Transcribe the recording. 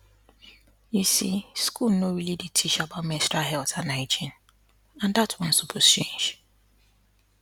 you see school no really dey teach about menstrual health and hygiene and that one suppose change